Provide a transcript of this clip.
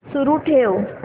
सुरू ठेव